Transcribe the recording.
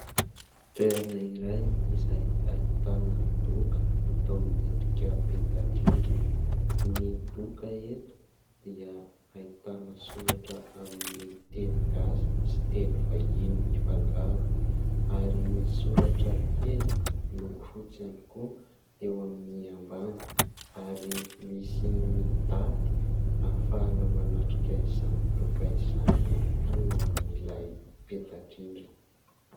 Toerana iray izay ahitana doka natao miendrika peta-drindrina, ny doka eto dia ahitana soratra amin'ny teny gasy sy teny vahiny mifangaro ary misy soratra kely miloko fotsy ihany koa eo amin'ny ambany ary misy ny daty ahafahana manatrika izany doka izany ihany koa eo amin'ilay peta-drindrina.